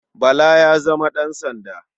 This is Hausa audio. Bala ya zama ɗansanda.